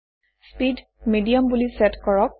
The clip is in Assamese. স্পীড মিডিয়াম বুলি চেট কৰক